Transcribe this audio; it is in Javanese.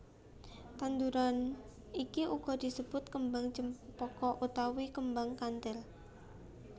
Tanduran iki uga disebut Kembang Cempaka utawa Kembang Kanthil